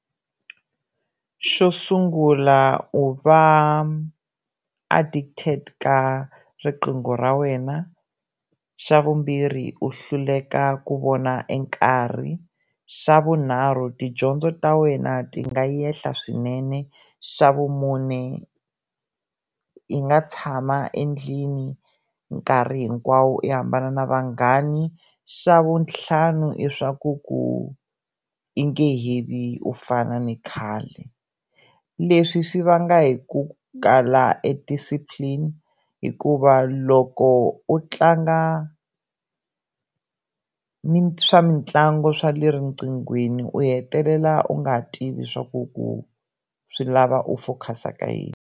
Xo sungula u va addicted ka riqingho ra wena, xa vumbirhi u hluleka ku vona nkarhi, xa vunharhu tidyondzo ta wena ti nga enhla swinene, xa vumune i nga tshama endlini nkarhi hinkwawo i hambana na vanghani, xa vutlhanu i swa ku ku i nge he vi u fana ni khale leswi swi vanga hi ku kala e discipline hikuva loko u tlanga ni swa mitlangu swa le riqinghweni u hetelela u nga tivi swa ku ku swi lava u focus-a ka yini.